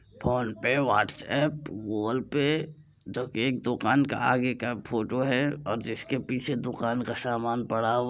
phone पे WhatsApp Google Pay जो एक दुकान का आगे का फोटो है जिस के पीछे दुकान का सामान पड़ा हुआ --